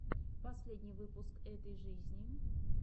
последний выпуск этой жизни